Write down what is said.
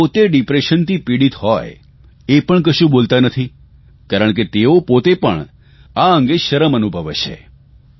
જે પોતે ડિપ્રેશનથી પિડીત હોય એ પણ કશું બોલતા નથી કારણ કે તેઓ પોતે પણ આ અંગે શરમ અનુભવે છે